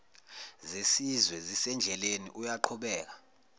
zesizwe zisendleleni uyaqhubeka